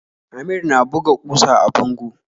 Amir na buga kusa a bango